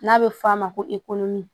N'a bɛ f'a ma ko